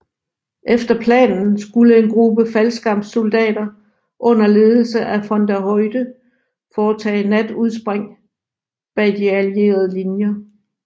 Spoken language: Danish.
Efter planen skulle en gruppe faldskærmssoldater under ledelse af von der Heydte foretage natudspring bag de allierede linjer